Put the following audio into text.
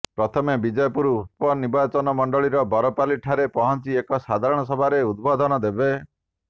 ପ୍ରଥମେ ବିଜେପୁର ନିର୍ବାଚନମଣ୍ଡଳୀର ବରପାଲୀ ଠାରେ ପହଞ୍ଚି ଏକ ସାଧାରଣ ସଭାରେ ଉଦ୍ବୋଧନ ଦେବେ